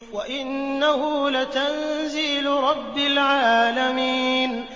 وَإِنَّهُ لَتَنزِيلُ رَبِّ الْعَالَمِينَ